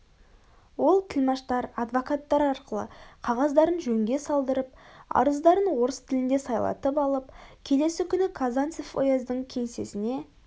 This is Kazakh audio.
ол тілмаштар адвокаттар арқылы қағаздарын жөнге салдырып арыздарын орыс тілінде сайлатып алып келесі күні казанцев ояздың кеңсесіне